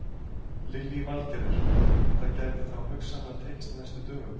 Lillý Valgerður: En það gæti þá hugsanlega tekist á næstu dögum?